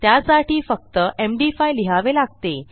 त्यासाठी फक्तMD5 लिहावे लागते